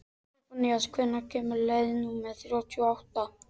Sophanías, hvenær kemur leið númer þrjátíu og átta?